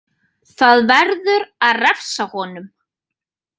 Það verður að refsa honum!